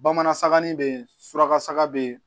Bamanan sakanin bɛ yen suraka saga be yen